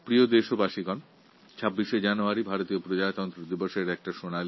আমার প্রিয় দেশবাসী ২৬শে জানুয়ারি সাধারণতন্ত্র দিবস